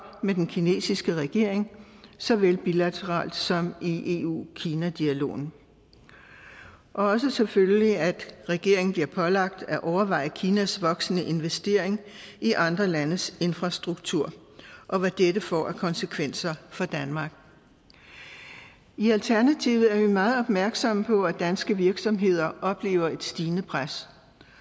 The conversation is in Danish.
med den kinesiske regering såvel bilateralt som i eu kina dialogen og også selvfølgelig at regeringen bliver pålagt at overveje kinas voksende investering i andre landes infrastruktur og hvad dette får af konsekvenser for danmark i alternativet er vi meget opmærksomme på at danske virksomheder oplever et stigende pres